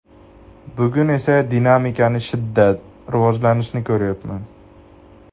Bugun esa esa dinamikani shiddat, rivojlanishni ko‘ryapman.